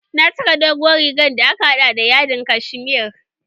Na saka doguwar riga da aka haɗa da yadin kashmere.